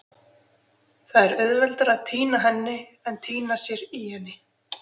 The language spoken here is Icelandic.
Það er auðveldara að týna henni en týna sér í henni.